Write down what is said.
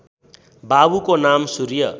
बाबुको नाम सूर्य